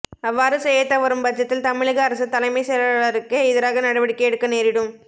அவ்வாறு செய்யத்தவரும் பட்சத்தில் தமிழக அரசு தலைமை செயலாளருக்கு எதிராக நடவடிக்கை எடுக்க நேரிடும்